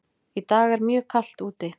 Í dag er mjög kalt úti.